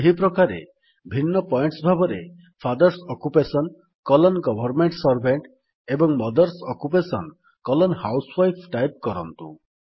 ସେହିପ୍ରକାରେ ଭିନ୍ନ ପଏଣ୍ଟସ୍ ଭାବରେ father's occupation colon government servant ଏବଂ mother's occupation colon housewife type କରନ୍ତୁ